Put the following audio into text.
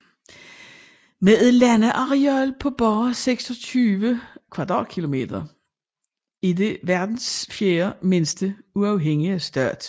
Med et landareal på bare 26 km² er det verdens fjerde mindste uafhængige stat